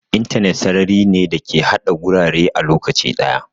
Intanet sarari ne da ke haɗa gurare a lokaci ɗaya.